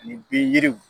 Ni bin yiriw